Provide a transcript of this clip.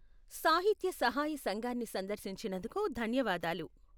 సాహిత్య సహాయ సంఘాన్ని సందర్శించినందుకు ధన్యవాదాలు.